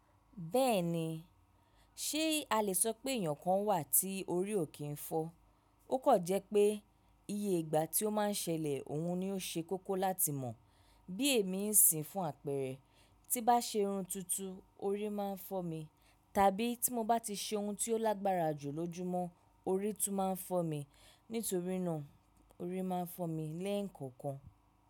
Bẹ́ẹ̀ni, ṣé a lè sọ pé èèyàn kan wà tí orí ò kí ń fọ́? Ó kọ̀ jẹ́ pé iye ìgbà tí ó máa ń ṣẹlẹ̀ òun ni ó ṣe kókó láti mọ̀. Bí èmi ń sìn fún àpẹẹrẹ, tí bá ṣe irun tuntun, orí máa ń fọ́ mi, tàbí tí mo bá ti ṣe ohun tí ó lágbára jù lójúmọ́, orí tún máa ń fọ́ mi. Nítorí náà, orí máa ń fọ́ mi lẹ́ẹ̀ǹkan kan.